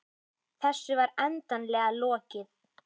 Þessu var endanlega lokið.